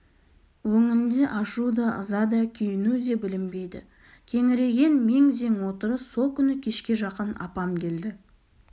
өңінде ашу да ыза да күйіну де білінбейді кеңірейген мең-зең отырыс со күні кешке жақын апам келді